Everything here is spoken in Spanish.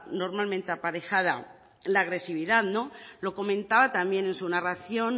normalmente aparejada la agresividad no lo comentaba también en su narración